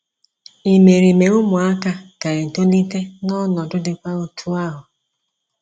Imerime ụmụaka ga - etolite n’ọnọdụ dịkwa otú ahụ.